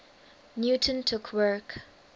newton took work